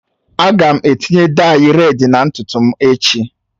Aga m etinye dayi redị na ntutu m echi